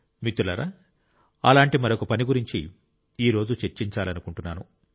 మిత్రులారా అలాంటి మరొక పని గురించి ఈ రోజు చర్చించాలనుకుంటున్నాను